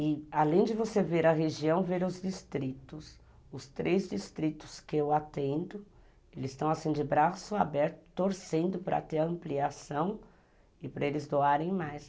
E além de você ver a região, ver os distritos, os três distritos que eu atendo, eles estão assim de braço aberto, torcendo para ter ampliação e para eles doarem mais.